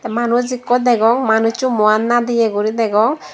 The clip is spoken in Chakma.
manuj ekku degong manussu muian nadeye gori degong.